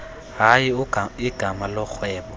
hayi igama lorhwebo